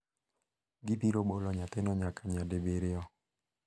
Gibiro bolo nyathino nyaka nyadibiriyo.